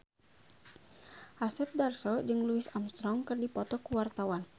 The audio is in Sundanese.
Asep Darso jeung Louis Armstrong keur dipoto ku wartawan